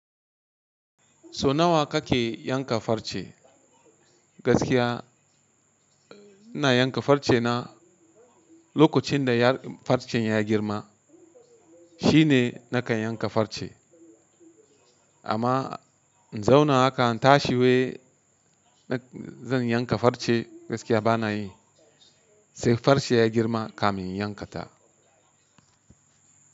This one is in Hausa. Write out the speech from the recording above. So nawa kake yanka farce? Gaskiya ina yanka farce na, lokacin da farce ya girma shine nakan yanka farce. Amma in zauna haka in tashi wai zan yanka farce gaskiya bana yi. Sai farce ya girma ka mayi yanka ta.